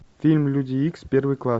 фильм люди икс первый класс